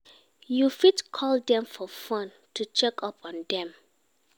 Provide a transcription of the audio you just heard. You fit call dem for phone to check up on dem